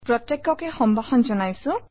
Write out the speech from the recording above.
প্ৰত্যেককে সম্ভাষণ জনাইছোঁ